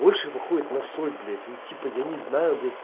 больше походит на соль блять ну типа я не знаю блять